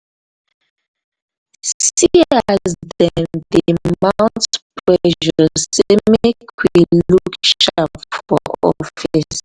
see as dem dey mount pressure sey make we look sharp for office.